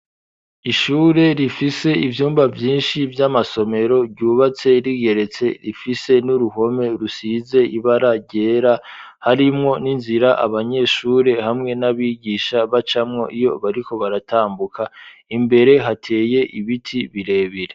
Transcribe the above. ishure rifise ivyumba vyinshi vy'amasomero ryubatse rigeretse rifise n'uruhome rusize ibara ryera harimwo n'inzira abanyeshure hamwe n'abigisha bacamwo iyo bariko baratambuka imbere hateye ibiti birebire.